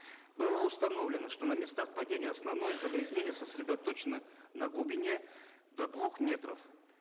было установлено что на местах падения основное загрязнение сосредоточено на глубине до двух метров